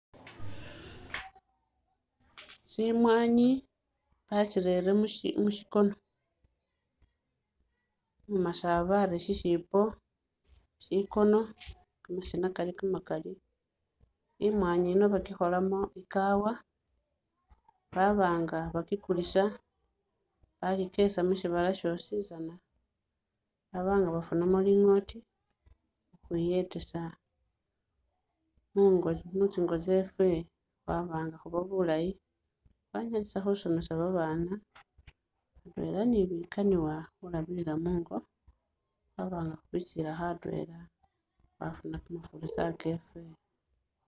Tsi mwanyi batsirere mu shikono, umumasaba ari mushiipo, shikono kamasina kali kamakali, I mwanyi yino bakyikholamo i cowa baba nga bakikulisa bakikesa musibala shositsana baba nga bafunamo lingoti ukhwiyetesa mu tsingo tsefe khwaba nga khuna bulayi khwanyalisa khusomesa ba baana atwela ni bikaniwa khulabilila mungo khwaba nga khubikulisilakho atwela khwafuna kamafurisa kefe.